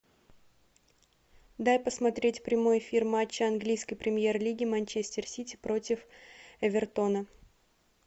дай посмотреть прямой эфир матча английской премьер лиги манчестер сити против эвертона